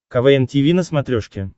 квн тиви на смотрешке